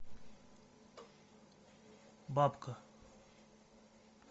бабка